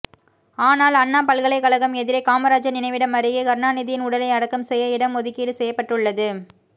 ஆனால் அண்ணா பல்கலைக்கழகம் எதிரே காமராஜர் நினைவிடம் அருகே கருணாநிதியின் உடலை அடக்கம் செய்ய இடம் ஒதுக்கீடு செய்யப்பட்டுள்ளது